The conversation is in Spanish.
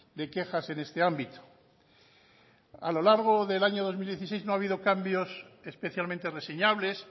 de quejas en este ámbito a lo largo del año dos mil dieciséis no ha habido cambios especialmente reseñables